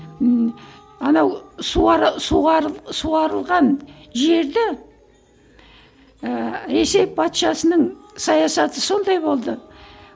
ммм анау суғарылған жерді ыыы ресей патшасының саясаты сондай болды